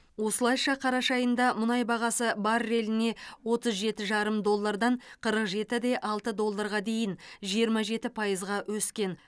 осылайша қараша айында мұнай бағасы барреліне отыз жеті жарым доллардан қырық жеті де алты долларға дейін жиырма жеті пайызға өскен